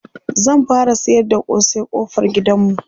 zan fara sayar da kosai ƙofar gidanmu